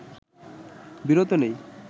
বিরত নেই